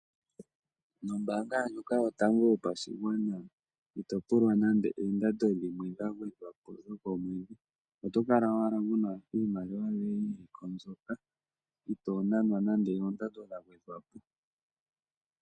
Nombaanga yoBank yopashigwana ito pulwa nande oondando dhimwe dhagwedhwapo dhokomwedhi. Otokala owala wuna iimaliwa mbyoka yili kombaanga yoye kaakuna nande oondando dhagwedhwapo dhokunana ombaanga yoye.